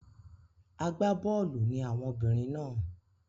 Agbá bọ́ọ̀lù ni àwọn obìnrin náà.